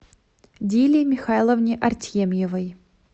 диле михайловне артемьевой